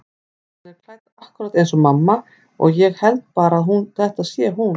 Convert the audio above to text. Hún er klædd akkúrat eins og mamma og ég held bara að þetta sé hún.